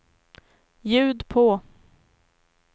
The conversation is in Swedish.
ljud på